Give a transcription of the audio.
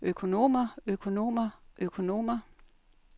økonomer økonomer økonomer